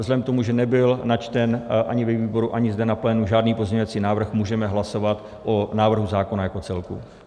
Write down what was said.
Vzhledem k tomu, že nebyl načten ani ve výboru, ani zde na plénu žádný pozměňovací návrh, můžeme hlasovat o návrhu zákona jako celku.